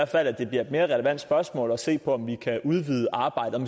fald at det bliver et mere relevant spørgsmål at se på om vi kan udvide arbejdet